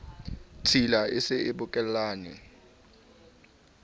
tshila e se e bokellane